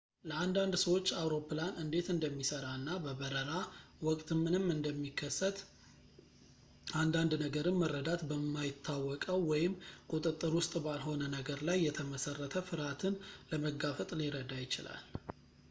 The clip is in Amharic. ለአንዳንድ ሰዎች አውሮፕላን እንዴት እንደሚሰራ እና በበረራ ወቅት ምንም እንደሚከሰት አንዳንድ ነገርን መረዳት በማይታወቀው ወይም ቁጥጥር ውስጥ ባልሆነ ነገር ላይ የተመሰረተ ፍርሃትን ለመጋፈጥ ሊረዳ ይችላል